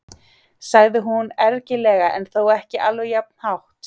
sagði hún ergilega en þó ekki alveg jafn hátt.